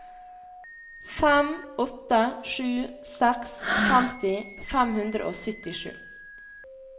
fem åtte sju seks femti fem hundre og syttisju